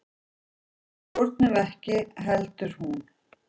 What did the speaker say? Við stjórnuðum ekki heldur hún.